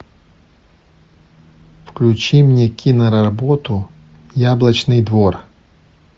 включи мне киноработу яблочный двор